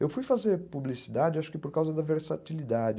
Eu fui fazer publicidade, acho que por causa da versatilidade.